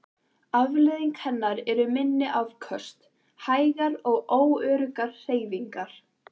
Afleiðing hennar eru minni afköst, hægar og óöruggar hreyfingar.